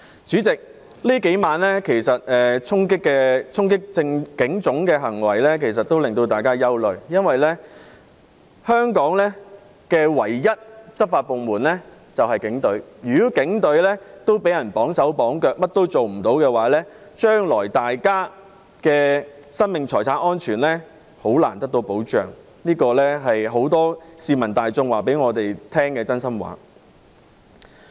主席，這數晚衝擊警察總部的行為其實令大家憂慮，因為香港唯一的執法部門便是警隊，如果警隊也被綁手綁腳，甚麼也做不到，將來大家的生命和財產安全便很難得到保障，這是很多市民大眾告訴我們的真心話。